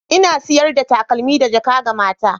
Ina sayar da takalma da jaka ga mata.